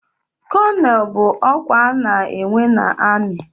Kónónel bụ ọkwa ana enwe n'armi.